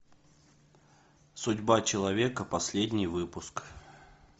судьба человека последний выпуск